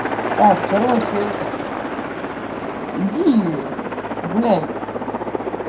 так короче это иди это гуляй